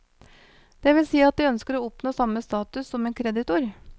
Det vil si at de ønsker å oppnå samme status som en kreditor.